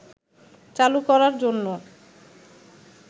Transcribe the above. চালু করার জন্য